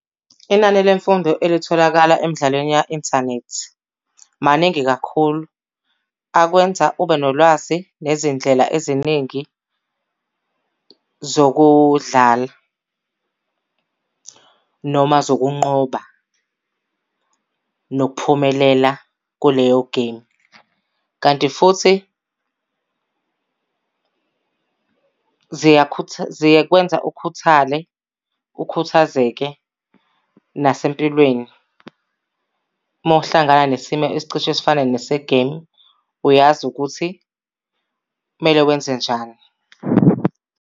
Inani lemfundo elitholakala emdlalweni ya-inthanethi. Maningi kakhulu, akwenza ube nolwazi nezindlela eziningi zokudlala noma zokunqoba nokuphumelela kuleyo gemu. Kanti futhi zikwenza ukhuthale, ukhuthazeke nasempilweni. Uma uhlangana nesimo esicishe sifane nesegemu uyazi ukuthi kumele wenze njani.